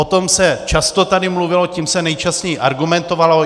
O tom se tady často mluvilo, tím se nejčastěji argumentovalo.